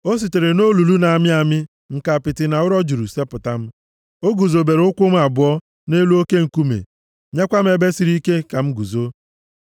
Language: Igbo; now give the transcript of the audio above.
O sitere nʼolulu na-amị amị, nke apịtị na ụrọ juru, sepụta m; o guzobere ụkwụ m abụọ nʼelu oke nkume, nyekwa m ebe siri ike ka m guzo.